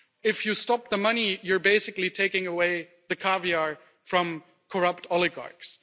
If you stop the money, you are basically taking away the caviar from corrupt oligarchs.'